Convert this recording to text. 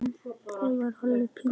Það var alveg pínu erfitt.